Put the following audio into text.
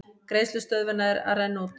Greiðslustöðvun að renna út